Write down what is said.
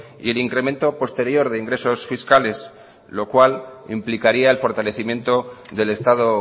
y el incremento posterior de ingresos fiscales lo cual implicaría el fortalecimiento del estado